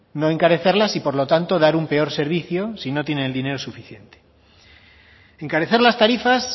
no encarecerlas y por lo tanto dar un peor servicio si no tienen el dinero suficiente encarecer las tarifas